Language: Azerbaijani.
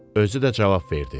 Özü də cavab verdi: